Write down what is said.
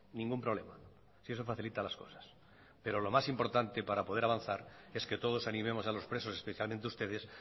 ningún problema si eso facilita las cosas pero lo más importante para poder avanzar es que todos animemos a los presos especialmente ustedes